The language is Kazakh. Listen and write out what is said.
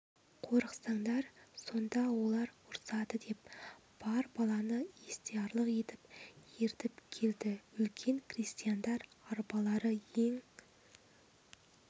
қорықсандар сонда олар ұрсады деп бар баланы естиярлық егіп ертіп келді үлкен крестьяндар арбалары ең